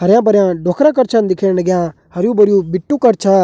हरयूं भरयुं डोकरा कर छन दिखेण लग्यां हरयूं भरयुं बिट्टू कर छा